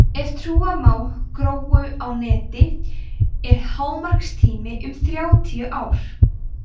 ef trúa má „gróu á neti“ er hámarkstími um þrjátíu ár